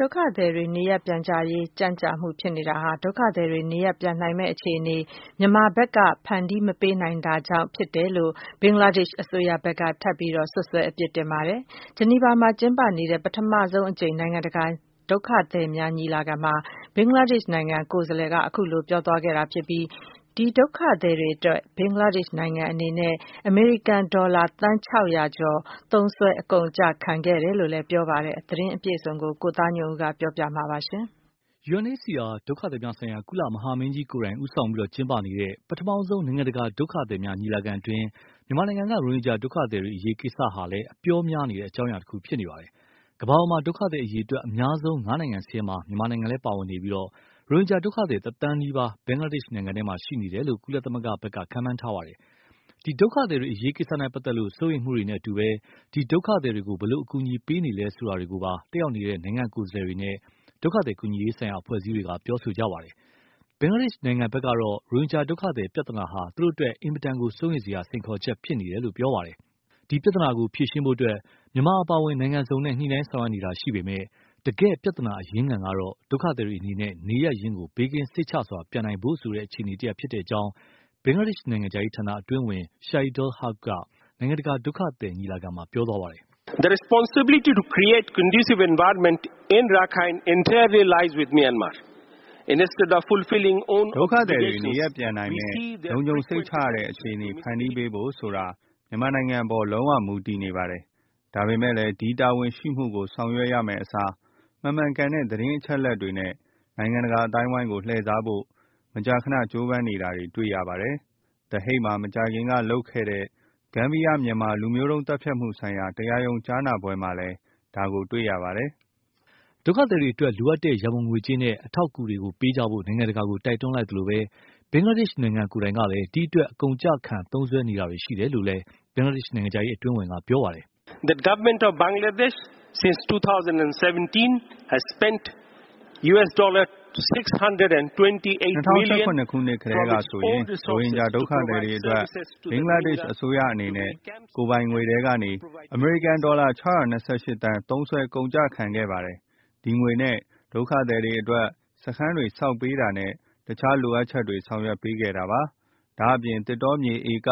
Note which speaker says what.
Speaker 1: ဒုက္ခသည်တွေ နေရပ်ပြန်ရေးကြန့်ကြာမှုဖြစ်နေတာဟာ ဒုက္ခသည်တွေ နေရပ်ပြန်နိုင်မယ့်အခြေအနေ မြန်မာဘက်က မဖန်တီးပေးနိုင်တာကြောင့်ဖြစ်တယ်လို့ ဘင်္ဂလားဒေ့ရှ်အစိုးရဘက်က ထပ်မံ စွပ်စွဲအပြစ်တင်ပါတယ်။ ဂျနီဗာမှာ ကျင်းပနေတဲ့ ပထမဆုံးအကြိမ် နိုင်ငံတကာဒုက္ခသည်များညီလာခံမှာ ဘင်္ဂလားဒေ့ရှ်နိုင်ငံ ကိုယ်စားလှယ်က ပြောဆိုသွားတာဖြစ်ပြီး၊ ဒီဒုက္ခသည်တွေအတွက် ဘင်္ဂလားဒေ့ရှ်နိုင်ငံ အနေနဲ့ အမေရိကန်ဒေါ်လာ သန်း၆၀၀ ကျော် သုံးစွဲ အကုန်အကျခံခဲ့တယ်လို့လည်း ပြောပါတယ်။ သတင်းအပြည့်အစုံ ကိုသားညွန့်ဦး ပြောပြမှာပါ။
Speaker 2: UNHCR ဒုက္ခသည်များဆိုင်ရာ ကုလ မဟာမင်းကြီးကိုယ်တိုင် ဦးဆောင်ကျင်းပနေတဲ့ ပထမဆုံး နိုင်ငံတကာ ဒုက္ခသည်များ ညီလာခံအတွင်း မြန်မာနိုင်ငံက ရိုဟင်ဂျာဒုက္ခသည်တွေကိစ္စဟာလည်း အပြောများနေတဲ့ အကြောင်းအရာ တခုဖြစ်နေပါတယ်။ ကမ္ဘာပေါ်မှာ ဒုက္ခသည်အရေအတွက် အများဆုံး ငါးနိုင်ငံစာရင်းမှာ မြန်မာနိုင်ငံလည်း ပါဝင်နေပြီး၊ ရိုဟင်ဂျာဒုက္ခသည် တသန်းနီးပါး ဘင်္ဂလားဒေ့ရှ်နိုင်ငံထဲမှာ ရှိနေတယ်လို့ ကုလသမဂ္ဂက ခန့်မှန်းထားပါတယ်။ ဒီ ဒုက္ခသည်တွေအရေးနဲ့ပတ်သက်လို့ စိုးရိမ်မှုတွေနဲ့အတူ ဒီ ဒုက္ခသည်တွေကို ဘယ်လို အကူအညီပေးနေလဲဆိုတာတွေကိုပါ တတ်ရောက်နေတဲ့ နိုင်ငံကိုယ်စားလှယ်တွေနဲ့ ဒုက္ခသည် ကူညီရေးဆိုင်ရာ အဖွဲ့အစည်းတွေက ပြောဆိုနေကြပါတယ်။ ဘင်္ဂလားဒေ့ရှ်နိုင်ငံကတော့ ရိုဟင်ဂျာဒုက္ခသည် ပြဿနာဟာ သူတို့အတွက် အင်မတန် စိုးရိမ်စရာ စိန်ခေါ်ချက်ဖြစ်နေတယ်လို့ ပြောခဲ့ပါတယ်။ ဒီ ပြဿနာကို ဖြေရှင်းဖို့ မြန်မာအပါအဝင် နိုင်ငံံစုံနဲ့ ညှိနှိုင်းဆောင်ရွက်နေတာ ရှိပေမယ့် တကယ့် ပြဿနာအရင်းခံကတော့ ဒုက္ခသည်တွေအနေနဲ့ နေရပ်ရင်းကို ဘေးကင်း စိတ်ချစွာပြန်နိုင်ဖို့ဆိုတဲ့ အခြေအနေ တရပ်ဖြစ်တယ်လို့ ဘင်္ဂလားဒေ့ရှ်နိုင်ငံခြားရေးဌာန အတွင်းဝင် Shahidul Haque က နိုင်ငံတကာ ဒုက္ခသည်ညီလာခံမှာ ပြောသွားပါတယ်။
Speaker 3: “ ဒုက္ခသည်တွေနေရပ်ပြ
Speaker 4: န်နိုင်မယ့် လုံခြုံစိတ်ချရတဲ့အခြေအနေ ဖန်တီးပေးဖို့ဆိုတာ မြန်မာနိုင်ငံအပေါ်မှာ လုံး၀ မူတည်နေပါတယ်။ ဒါပေမယ့်လည်း ဒီ တာဝန်ရှိမှုကို ဆောင်ရွက်ရမယ့်အစား မမှန်ကန်တဲ့ သတင်းအချက်အလက်တွေ နဲ့ နိုင်ငံတကာအသိုင်းအဝိုင်းကို လှည့်စားဖို့ မကြာခဏကြိုးပမ်းနေတာတွေ တွေ့နေရပါတယ်။ The Hague မှာ မကြာခင်ကလုပ်ခဲ့တဲ့ ဂန်ဘီယာ-မြန်မာ လူမျိုးတုံး သတ်ဖြတ်မှုဆိုင်ရာ တရားရုံးကြားနာပွဲမှာလည်း ဒါကို တွေ့ရပါတယ်။ ” ဒုက္ခ
Speaker 2: သည်တွေအတွက် လိုအပ်တဲ့ ရန်ပုံငွေကြေးနဲ့ အထောက်အကူတွေပေးကြဖို့ နိုင်ငံတကာကို တိုက်တွန်း လိုက်သလို၊ ဘင်္ဂလားဒေ့ရှ်ကိုယ်တိုင်ကလည်း ဒီအတွက် အကုန်အကျခံ သုံးစွဲနေတာတွေရှိတယ်လို့လည်း ဘင်္ဂလားဒေ့ရှ် နိုင်ငံခြားရေးအတွင်းဝန်က ပြောပါတယ်
Speaker 3: ။ “၂၀၁၇ နှစ်ကတည်းကဆိုရင် ရိုဟင
Speaker 4: ်ဂျာတွေဒုက္ခသည်တွေအတွက် ဘင်္ဂလားဒေ့ရှ်အစိုးရအနေနဲ့ ကိုယ့် ကိုယ်ပိုင်ထဲကနေ အမေရိကန်ဒေါ်လာ ၆၂၈ သန်း သုံးစွဲ အကုန်အကျခံခဲ့ပါတယ်။ ဒီငွေနဲ့ ဒုက္ခသည်တွေအတွက် စခန်းတွေဆောက်ပေးတာနဲ့ အခြားလိုအပ်ချက်တွေ ဆောင်ရွက်ပေးခဲ့တာပါ။ ဒါ့အပြင် သစ်တောမြေဧက